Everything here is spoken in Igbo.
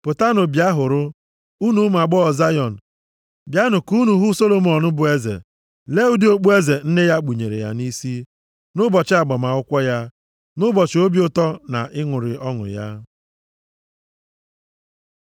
pụtanụ, bịa hụrụ, unu ụmụ agbọghọ Zayọn, bịanụ ka unu hụ Solomọn bụ eze; lee ụdị okpueze nne ya kpunyere ya nʼisi, nʼụbọchị agbamakwụkwọ ya, nʼụbọchị obi ụtọ na ịṅụrị ọṅụ ya.